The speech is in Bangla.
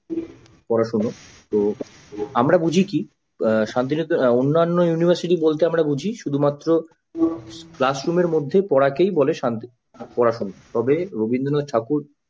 পড়াশোনা ও আমরা বুঝে কি শান্তিনিকেতন অন্যান্য university বলতে আমরা বুঝি কি শুধুমাত্র classroom র ভেতরে পড়াশোনাতেই বলে শান্তি পড়াশোনা, তবে রবীন্দ্রনাথ ঠাকুর